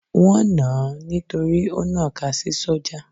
Wọ́n nàn án nítorí ó nọ̀ka sí sójà.